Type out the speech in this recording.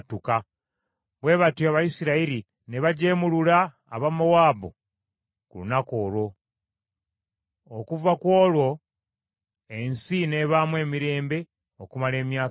Bwe batyo Abayisirayiri ne bajeemulula Abamowaabu ku lunaku olwo. Okuva ku olwo ensi n’ebaamu emirembe okumala emyaka kinaana.